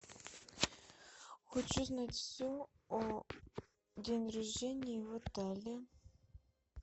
хочу знать все о день рождении в отеле